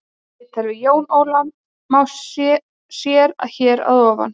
Viðtalið við Jón Óla má sér hér að ofan.